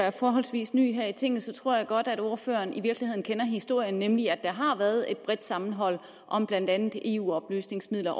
er forholdsvis ny her i tinget tror jeg godt at ordføreren kender historien nemlig at der har været et bredt sammenhold om blandt andet eu oplysningsmidler